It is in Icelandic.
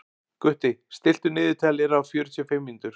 Gutti, stilltu niðurteljara á fjörutíu og fimm mínútur.